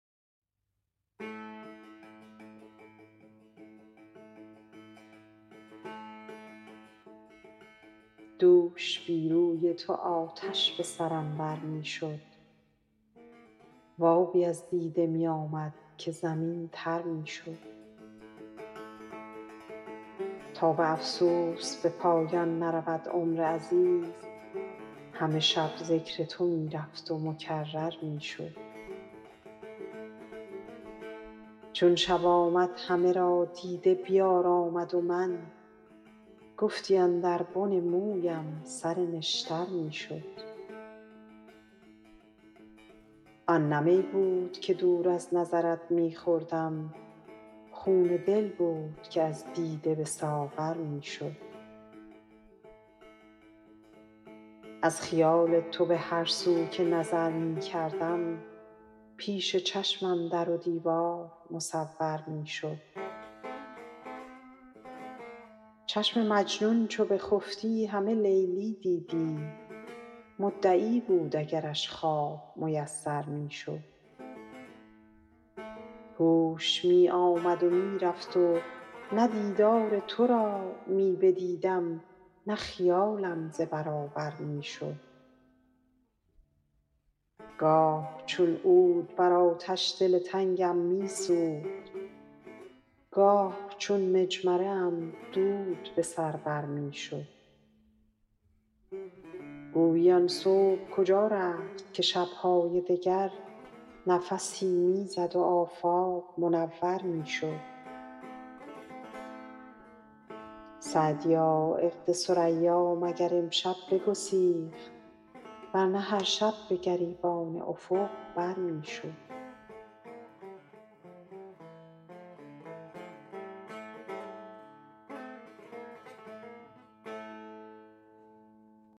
دوش بی روی تو آتش به سرم بر می شد و آبی از دیده می آمد که زمین تر می شد تا به افسوس به پایان نرود عمر عزیز همه شب ذکر تو می رفت و مکرر می شد چون شب آمد همه را دیده بیارامد و من گفتی اندر بن مویم سر نشتر می شد آن نه می بود که دور از نظرت می خوردم خون دل بود که از دیده به ساغر می شد از خیال تو به هر سو که نظر می کردم پیش چشمم در و دیوار مصور می شد چشم مجنون چو بخفتی همه لیلی دیدی مدعی بود اگرش خواب میسر می شد هوش می آمد و می رفت و نه دیدار تو را می بدیدم نه خیالم ز برابر می شد گاه چون عود بر آتش دل تنگم می سوخت گاه چون مجمره ام دود به سر بر می شد گویی آن صبح کجا رفت که شب های دگر نفسی می زد و آفاق منور می شد سعدیا عقد ثریا مگر امشب بگسیخت ور نه هر شب به گریبان افق بر می شد